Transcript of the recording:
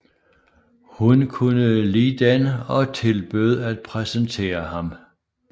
Hun kunne lide den og tilbød at præsentere ham